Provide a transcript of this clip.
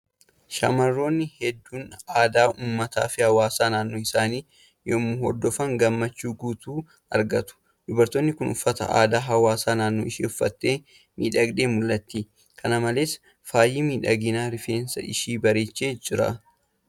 Shamarroonni hedduun aadaa uummataa fi hawaasa naanno isaanii yoo hordofan gammachuu guutuu argatu. Dubartiin kun uffata aadaa hawaasa naannoo ishee uffattee miidhagdee mul'atti. Kana malees, faayi miidhaginaa rifeensa ishii bareechee jira.